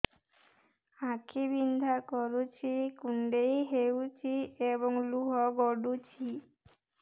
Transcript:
ଆଖି ବିନ୍ଧା କରୁଛି କୁଣ୍ଡେଇ ହେଉଛି ଏବଂ ଲୁହ ଗଳୁଛି